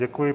Děkuji.